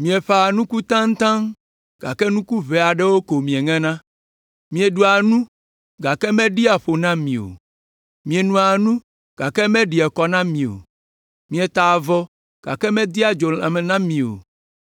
Mieƒãa nuku taŋtaŋ gake nuku ʋɛ aɖewo ko mieŋena. Mieɖua nu gake meɖia ƒo na mi o. Mienoa nu gake meɖia kɔ na mi o, mietaa avɔ gake medea dzo lãme na mi o.